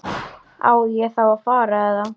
Á ég þá að fara. eða?